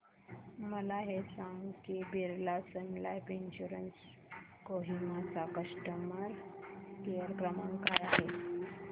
मला हे सांग की Birla Sun Life insurance Kohima चा कस्टमर केअर क्रमांक काय आहे